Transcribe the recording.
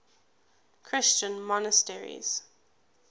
christian monasteries